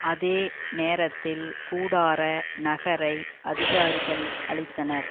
அதே நேரத்தில் கூடார நகரை அதிகாரிகள் அழித்தனர்